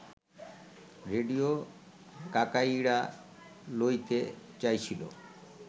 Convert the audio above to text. radio কাকাইড়া লইতে চাইছিল